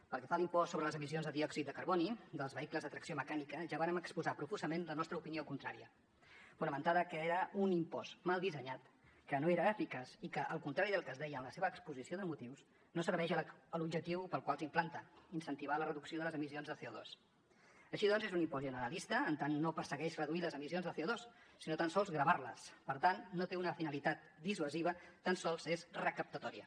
pel que fa a l’impost sobre les emissions de diòxid de carboni dels vehicles de tracció mecànica ja vàrem exposar profusament la nostra opinió contrària fonamentada que era un impost mal dissenyat que no era eficaç i que al contrari del que es deia en la seva exposició de motius no serveix a l’objectiu pel qual s’implanta incentivar la reducció de les emissions de coaixí doncs és un impost generalista en tant no persegueix reduir les emissions de corecaptatòria